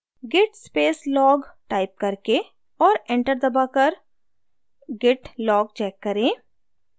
git space log type करके और enter दबाकर git log check करें